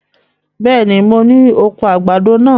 Bẹ́ẹ̀ni, mo ní oko àgbàdo náà.